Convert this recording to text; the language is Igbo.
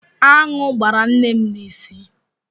Aṅụ gbara nne m n'isi.